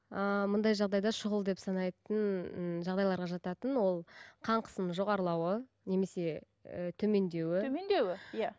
ааа мұндай жағдайда шұғыл деп санайтын ііі жағдайларға жататын ол қан қысымның жоғарылауы немесе і төмендеуі төмендеуі иә